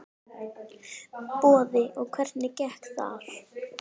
Boði: Og hvernig gekk þar?